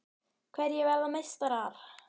Hverjir verða meistarar?